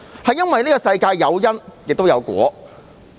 這個世界有因亦有果。